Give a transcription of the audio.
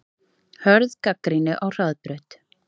Hörð gagnrýni á Hraðbraut